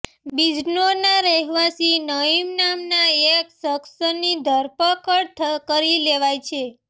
બિજનૌરના રહેવાસી નઇમ નામના એક શખ્સની ધરપકડ કરી લેવાઇ છે